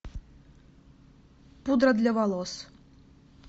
пудра для волос